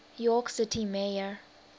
york city mayor